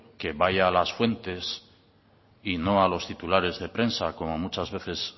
que vaya a las fuentes y no a los titulares de prensa como muchas veces